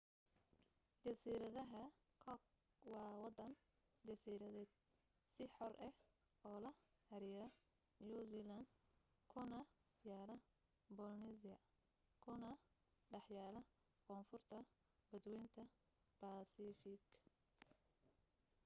jasiiradaha cook waa waddan jasiiradeed si xor ah ula xiriira new zealand kuna yaalla polynesia kuna dhex yaalla koonfurta badwaynta baasifigga